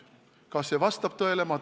Kas see vastab tõele?